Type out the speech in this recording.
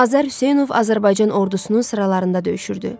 Azər Hüseynov Azərbaycan Ordusunun sıralarında döyüşürdü.